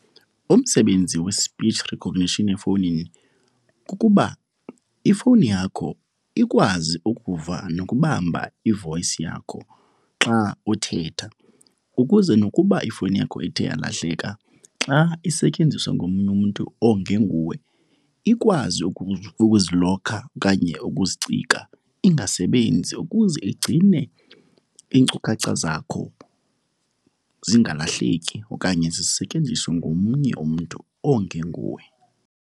Umsebenzi we-speech recognition efowunini kukuba ifowuni yakho ikwazi ukuva nokubamba i-voice yakho xa uthetha. Ukuze nokuba ifowuni yakho ithe yalahleka, xa isetyenziswa ngomnye umntu ongenguwe, ikwazi ukuzilokha okanye ukuzicika ingasebenzi ukuze igcine iinkcukacha zakho zingalahleki okanye zisetyenziswe ngomnye umntu ongenguwe.